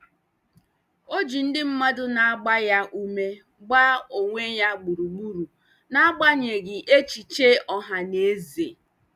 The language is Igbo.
O ji ndị mmadụ na-agba ya ume gba onwe ya gburugburu n'agbanyeghị echiche ọha na eze.